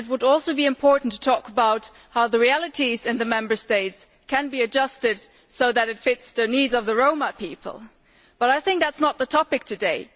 It is also important to talk about how the realities in the Member States can be adjusted so that they fit the needs of the Roma people, but I think that is not the topic at issue today.